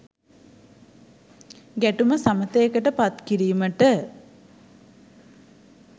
ගැටුම සමථයකට පත්කිරීමට